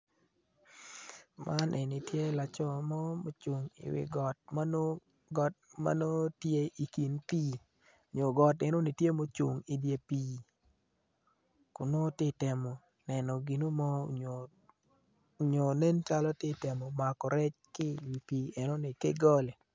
Man eni tye laco mo am tye i wi got tye i dog pii nam yeya tye mapol i nam acel tye i nam i ngeye pol nen nyo nencalo tye ka temo mako rec i wi pii enino ki goli.